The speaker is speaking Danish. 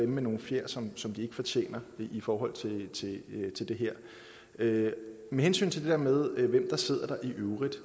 med nogle fjer som som de ikke fortjener i forhold til det her med hensyn til det med hvem der i øvrigt